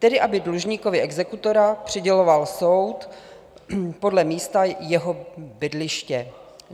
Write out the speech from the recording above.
Tedy aby dlužníkovi exekutora přiděloval soud podle místa jeho bydliště.